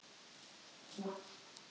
Fnæsandi siglir hún upp til sín.